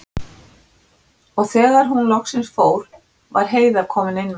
Og þegar hún loksins fór var Heiða komin inn með strákana.